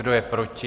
Kdo je proti?